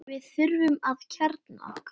Við þurfum að kjarna okkur